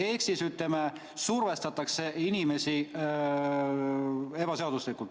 Ehk siis ütleme: survestatakse inimesi ebaseaduslikult.